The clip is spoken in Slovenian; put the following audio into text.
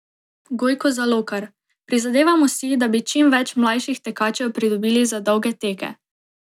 Gojko Zalokar: "Prizadevamo si, da bi čim več mlajših tekačev pridobili za dolge teke.